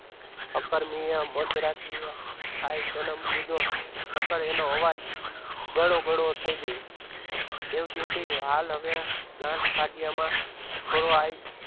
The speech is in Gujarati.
આ કર્મિયા મત રાત્રે ખાઈ જન્મ લીધો નકર એનો અવાજ ઘણો થઈ ગયો દેવજીએ કહ્યું હાલ હવે ગાંઠ કાઢવામાં છોરો